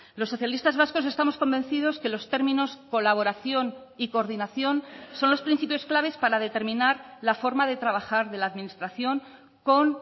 los socialistas vascos estamos convencidos que los términos colaboración y coordinación son los principios claves para determinar la forma de trabajar de la administración con